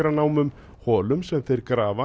fátækranámum holum sem þeir grafa